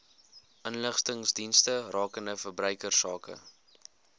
inligtingsdienste rakende verbruikersake